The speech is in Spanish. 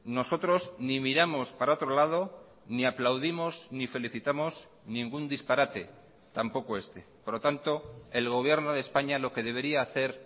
nosotros ni miramos para otro lado ni aplaudimos ni felicitamos ningún disparate tampoco este por lo tanto el gobierno de españa lo que debería hacer